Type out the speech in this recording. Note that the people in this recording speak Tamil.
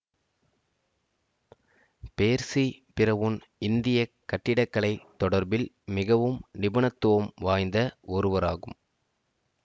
பேர்சி பிறவுன் இந்திய கட்டிடக்கலை தொடர்பில் மிகவும் நிபுணத்துவம் வாய்ந்த ஒருவராகும்